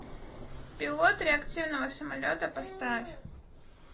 пилот реактивного самолета поставь